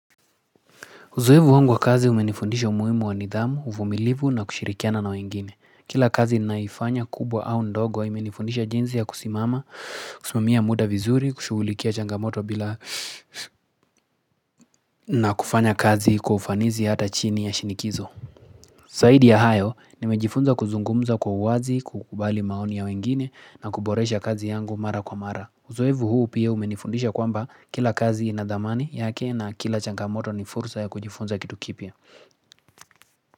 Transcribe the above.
Uzoevu wangu wa kazi umenifundisha umuhimu wa nidhamu, uvumilivu na kushirikiana na wengine. Kila kazi naiyofanya kubwa au ndogo imenifundisha jinsi ya kusimama, kusimamia muda vizuri, kushugulikia changamoto bila na kufanya kazi kwa ufanisi hata chini ya shinikizo. Zaidi ya hayo, nimejifunza kuzungumza kwa uwazi, kukubali maoni ya wengine na kuboresha kazi yangu mara kwa mara. Uzoevu huu pia umenifundisha kwamba kila kazi ina dhamani yake na kila changamoto ni fursa ya kujifunza kitu kipya.